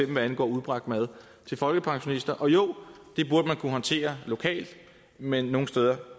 hvad angår udbragt mad til folkepensionister og jo det burde man kunne håndtere lokalt men nogle steder